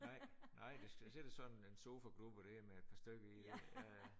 Nej nej der skal sidde sådan en sofagruppe der med et par stykker i ja ja